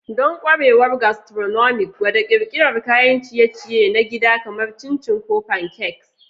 Don ƙwarewar gastronomic, gwada ƙirƙirar kayan ciye-ciye na gida kamar chin chin ko pancakes.